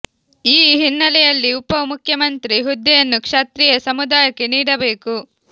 ಈ ಹಿನ್ನೆಲೆಯಲ್ಲಿ ಉಪ ಮುಖ್ಯಮಂತ್ರಿ ಹುದ್ದೆಯನ್ನು ಕ್ಷತ್ರಿಯ ಸಮು ದಾಯಕ್ಕೆ ನೀಡಬೇಕು